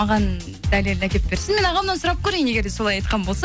маған дәлел әкеліп берсін мен ағамнан сұрап көрейін егер де солай айтқан болса